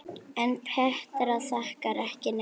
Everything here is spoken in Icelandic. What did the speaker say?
En Petra þakkar ekki neinum.